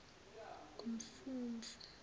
kumfumfu